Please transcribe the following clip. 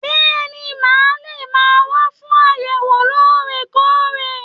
Bẹẹni, ma lè máa wá fún àyẹ̀wò loore-koore.